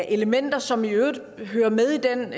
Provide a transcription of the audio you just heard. elementer som i øvrigt hører med i den